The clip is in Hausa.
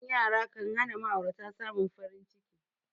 Rashin yara kanhana ma'aurata samin farin ciki